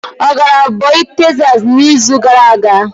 Ọ gara oboy Tekzas n'izu gara aga?